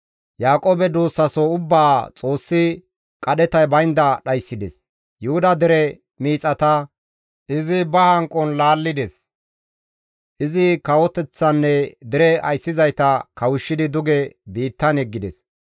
Yaaqoobe duussaso ubbaa Xoossi qadhetay baynda dhayssides; Yuhuda dere miixata izi ba hanqon laallides; izi kawoteththanne dere ayssizayta kawushshidi duge biittan yeggides.